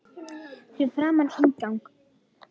Fyrir framan inngang